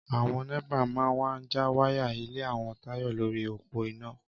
Àwọn nẹ́pà máa wá já wáyà ilé àwọn Táyọ̀ lórí òpó iná